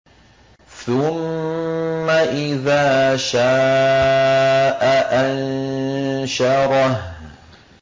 ثُمَّ إِذَا شَاءَ أَنشَرَهُ